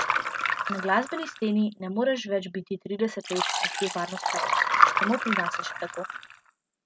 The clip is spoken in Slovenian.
Na glasbeni sceni ne moreš več biti trideset let nekje varno spravljen, samo pri nas je še tako.